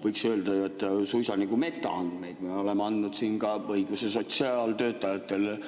Võiks öelda suisa nagu metaandmeid, me oleme andnud siin õiguse sotsiaaltöötajatele